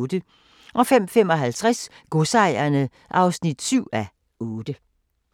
05:55: Godsejerne (7:8)